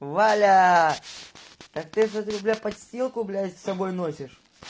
валя так ты смотрю подстилку блять с собой носишь